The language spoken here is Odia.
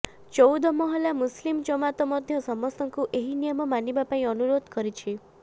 ଚଉଦ ମହଲା ମୁସଲିମ ଜମାତ ମଧ୍ୟ ସମସ୍ତଙ୍କୁ ଏହି ନିୟମ ମାନିବା ପାଇଁ ଅନୁରୋଧ କରିଛି